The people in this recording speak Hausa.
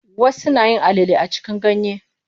Wasu nayin alale a cikin ganye.